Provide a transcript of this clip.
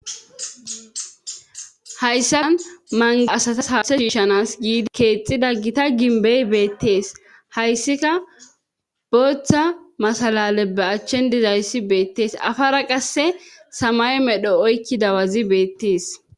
hayssan manga asatas haase shiishanas giidi keexida ggita gimbey beettees hayssika booththa masalale be achchen dizayssi beettees afara qasse samay medho oykki dawazi beettes